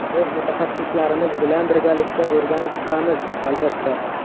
Biz mutaxassislarimiz bilan birgalikda o‘rganib chiqamiz, albatta.